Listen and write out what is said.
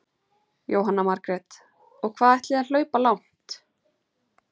Jóhanna Margrét: Og hvað ætlið þið að hlaupa langt?